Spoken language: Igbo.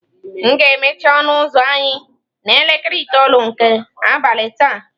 M ga-emechi ọnụ ụzọ anyị n'elekere itoolu nke abalị taa.